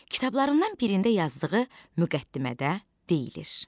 Kitablarından birində yazdığı müqəddimədə deyilir: